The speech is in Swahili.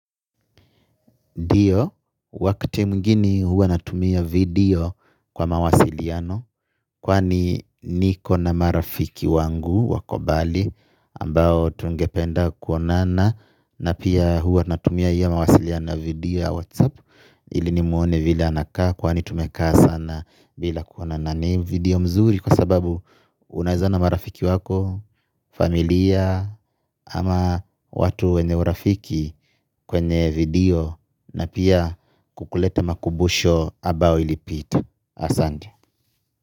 Dio, wakati mwingini huwa natumia video kwa mawasiliano. Kwani niko na marafiki wangu wakombali ambao tungependa kuonana na pia huwa natumia hiyo mawasiliano video Whatsapp. Ili ni muone vila anakaa kwani tumekaa sana bila kuonana. Na ni video mzuri kwa sababu unaezaona marafiki wako. Familia ama watu wenye urafiki kwenye video na pia kukuleta makumbusho ambao ilipita. Asante.